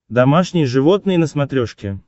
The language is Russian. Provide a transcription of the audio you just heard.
домашние животные на смотрешке